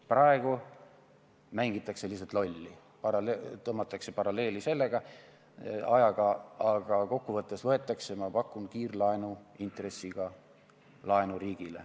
Praegu mängitakse lihtsalt lolli, tõmmatakse paralleeli selle kunagise ajaga, aga kokku võttes võetakse riigile, ma pakun, kiirlaenuintressiga laenu.